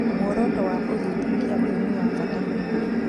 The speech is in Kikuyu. Muoroto wa ũthuthuria ũyũ nĩ wa bata mũno.